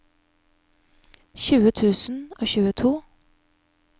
tjue tusen og tjueto